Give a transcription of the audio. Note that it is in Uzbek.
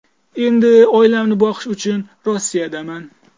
Endi oilamni boqish uchun Rossiyadaman .